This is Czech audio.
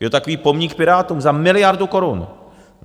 Je to takový pomník Pirátům za miliardu korun!